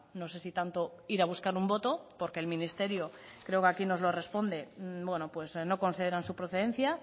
no sé si tanto ir a buscar un voto porque el ministerio creo que aquí nos lo responde pues no consideran su procedencia